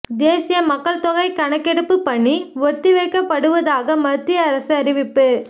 தேசிய மக்கள் தொகை கணக்கெடுப்பு பணி ஒத்திவைக்கப்படுவதாக மத்திய அரசு அறிவிப்பு